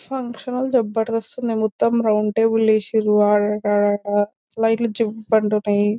function జబర్దస్త్ ఉంది మొత్తం రౌండ్ టేబుల్ వేసిండ్రు ఆడ ఆడ ఆడ లైట్లు జివ్వు అంటున్నాయి --